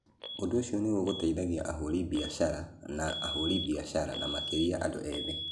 Ũndũ ũcio nĩ ũgũteithagia ahũri biacara na ahũri biacara, na makĩria andũ ethĩ.